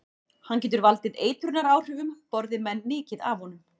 Hann getur valdið eitrunaráhrifum borði menn mikið af honum.